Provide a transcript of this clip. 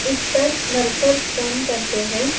इस पर वर्कर्स काम करते हैं।